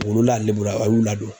Olu la a lebula a y'u ladon.